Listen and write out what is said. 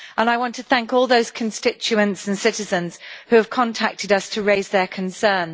I want to thank all those constituents and citizens who have contacted us to raise their concern.